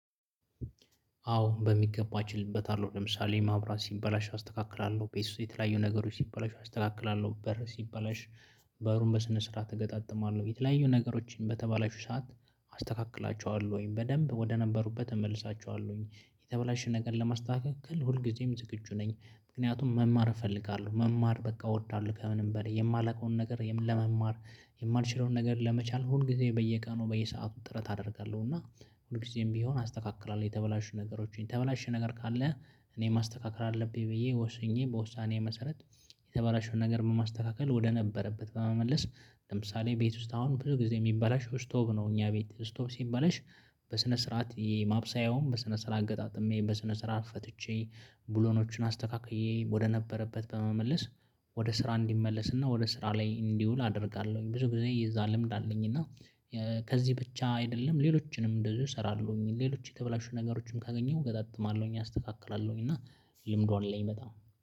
አዎ በሚገባ እችልበታለው ለምሳሌ ማብራት ሲበላሽ አስተካክላለሁ ቤት ውስጥ የተለያዩ ነገሮች ሲበላሽ አስተካክላለሁ በሩ ሲባላሽ በሩን በስነ ስርዓት እገጣጥማለሁ የተለያዩ ነገሮችን በተባለሽው ሰዓት አስተካክላቸዋለሁኝ በደንብ ወደነበሩበት እመልሳችኋለሁኝ። የተበላሽ ነገር ለማስተካከል ሁልጊዜም ዝግጁ ነኝ። ምክንያቱም መማር እፈልጋለሁ መማር በቃ እወዳለሁ። ከምንም በላይ የማላውቀውን ነገር ለመማር የማንችለውን ነገር ለመቻል ሁል ጊዜ በየቀኑ በየሰአቱ ጥረት አደርጋለሁ። እና ሁል ጊዜም ቢሆን አስተካክላለሁ የተበላሹ ነገሮችን የተበላሸ ነገር ካለ እኔ ማስተካከል አለብኝ ብዬ ወስኜ በውሳኔ መሰረት። የተበላሸውን ነገር በማስተካከል ወደነበረበት በመመለስ ለምሳሌ ቤት ውስጥ አሁን ብዙ ጊዜ የሚባላሽው ስቶቭ ነው። እኛ ቤት ስቶቭ ሲበለሽ በስነ ስርዓት የማብሰያውም በስነ ስራት ገጣጥሜ በስነ ስራት ፈትቼ ብሎኖችን አስተካክዬ ወደነበረበት በመመለስ ወደ ስራ እንዲመለስና ወደ ስራ ላይ እንዲውል አደርጋለሁኝ። ብዙ ጊዜ የዛ ልምድ አለኝ እና። ከዚህ ብቻ አይደለም ሌሎችንም እንደዚሁ እሰራለሁኝ። ሌሎች የተበላሹ ነገሮችንም ካገኘሁ እገጣጥማለሁኝ አስተካክላለሁኝ። እና ልምዱ ላይ በጣም